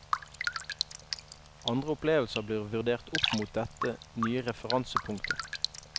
Andre opplevelser blir vurdert opp mot dette nye referansepunktet.